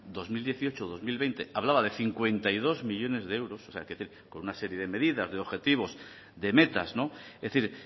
dos mil dieciocho dos mil veinte hablaba de cincuenta y dos millónes de euros o sea hay que decir con una serie de medidas de objetivos de metas es decir